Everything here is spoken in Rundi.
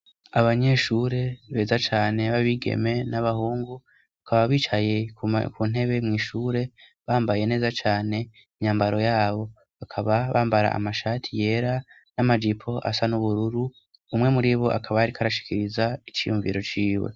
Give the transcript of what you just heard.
Abanyeshure beza cane babigeme n'abahungu bakaba bicaye ku ntebe mu ishure bambaye neza cyane imyambaro yabo bakaba bambara amashati yera n'amajipo asa n'ubururu umwe muri bo akaba ari karashikiriza iciyumviro ciwe.